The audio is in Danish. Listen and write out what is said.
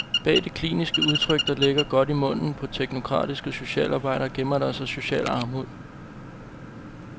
Bag det kliniske udtryk, der ligger godt i munden på teknokratiske socialarbejdere, gemmer der sig social armod.